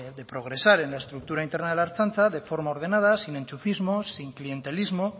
de progresar en la estructura interna de la ertzaintza de forma ordenada sin enchufismos sin clientelismo